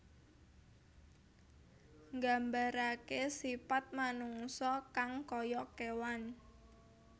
Nggambaraké sipat manungsa kang kaya kéwan